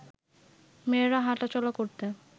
মেয়েরা হাঁটা চলা করতে